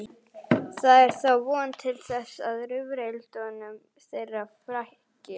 Það er þá von til þess að rifrildum þeirra fækki.